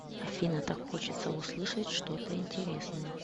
афина так хочется услышать что то интересное